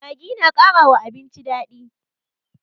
Maggi na kara wa abinci daɗi